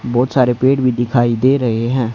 बहोत सारे पेड़ भी दिखाई दे रहे हैं।